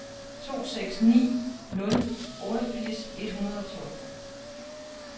to seks ni nul otteogfirs et hundrede og tolv